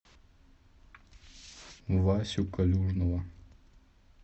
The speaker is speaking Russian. васю калюжного